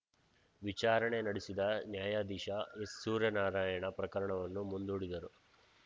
ವಿಚಾರಣೆ ನಡೆಸಿದ ನ್ಯಾಯಾದೀಶ ಎಸ್‌ಸೂರ್ಯನಾರಾಯಣ ಪ್ರಕರಣವನ್ನು ಮುಂದೂಡಿದರು